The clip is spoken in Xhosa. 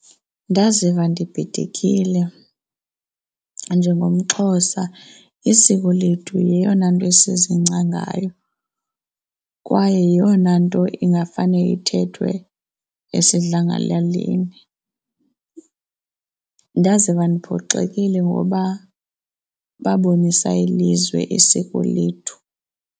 Ndaziva ndibhidekile. NjengomXhosa isiko lethu yeyona nto esizingca ngayo kwaye yeyona nto ingafane ithethwe esidlangalaleni. Ndaziva ndiphoxekile ngoba babonisa ilizwe isiko lethu.